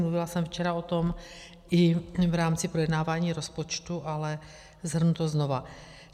Mluvila jsem včera o tom i v rámci projednávání rozpočtu, ale shrnu to znovu.